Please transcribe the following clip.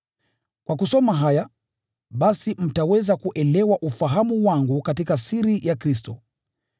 Kwa kusoma haya, basi mtaweza kuelewa ufahamu wangu katika siri ya Kristo.